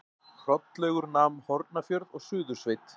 Hrollaugur nam Hornafjörð og Suðursveit.